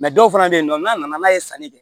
dɔw fana bɛ yen nɔ n'a nana n'a ye sanni kɛ